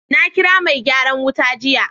nakira megyaran wutan jiya.